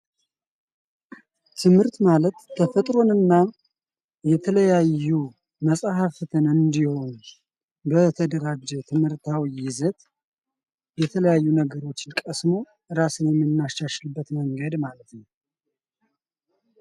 ትምህርት ማለት ተፈጥሮን እና የተለያዩ መፅሐፍትን እንዲዋጅ በተደራጀ የትምህርት ይዘት የተለያዩ ነገሮችን ቀስሞ ራስን ምናሻሽልብት መንገድ ማለት ነው ።